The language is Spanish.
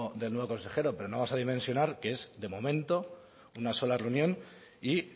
del nuevo consejero pero no vamos a dimensionar que es de momento una sola reunión y